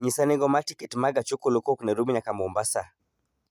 nyisa nengo ma tiket ma gach okolo kowuok nairobi nyaka mombasa